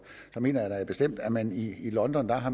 så mener jeg da bestemt at man i london jo har